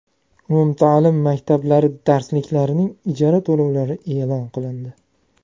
Umumta’lim maktablari darsliklarining ijara to‘lovlari e’lon qilindi.